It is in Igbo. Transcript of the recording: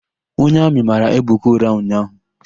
Onye Amị mara Ebuka ụra ụnyaahụ.